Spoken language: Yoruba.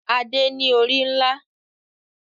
Adé ní orí ńlá.